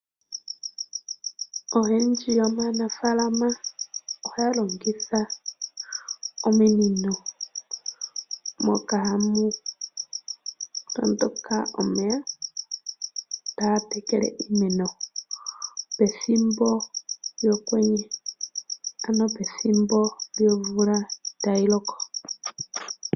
Oyendji yomanafalama ohaya longitha omunino moka hamu toondoka omeya taga tekele iimeno pethimbo lyomvula tayi loko.